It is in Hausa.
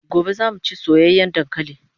Gobe zamu chi soyayan dankalin